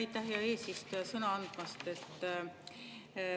Aitäh, hea eesistuja, sõna andmast!